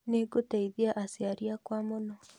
Nĩngũteithia aciari akwa mũno